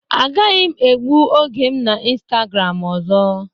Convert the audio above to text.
Agaghị m egbu oge m na Instagram ọzọ.